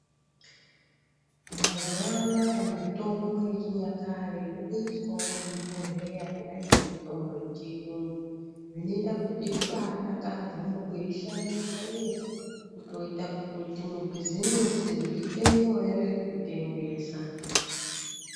Mazuva anaya mitombo yechi nyakare yo tengeswawo mu zvi bhodhlera kudai nge mutombo ye chiyungu zvinoita kuti zvibai dakadza muku ishandisa uye kutoita kuti mu bhizimusi zviite nyore kutengesa.